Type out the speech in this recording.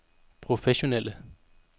professionelle